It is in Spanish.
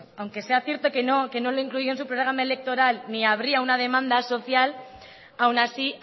aunque sea cierto que no lo incluía en su programa electoral ni habría una demanda social aún así